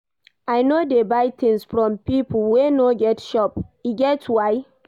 I no dey buy tins from pipo wey no get shop, e get why.